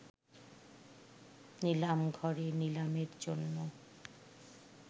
নিলামঘরে নিলামের জন্য